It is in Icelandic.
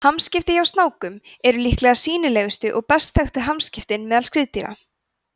hamskipti hjá snákum eru líklega sýnilegustu og best þekktu hamskiptin meðal skriðdýra